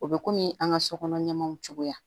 O bɛ kɔmi an ka sokɔnɔ ɲɛmɔw cogoya